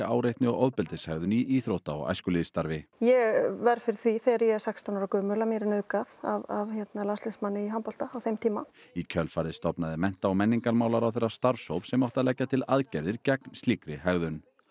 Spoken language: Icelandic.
áreitni og ofbeldishegðun í íþrótta og æskulýðsstarfi ég verð fyrir því þegar ég er sextán ára gömul að mér er nauðgað af landsliðsmanni í handbolta á þeim tíma í kjölfarið stofnaði mennta og menningarmálaráðherra starfshóp sem átti að leggja til aðgerðir gegn slíkri hegðun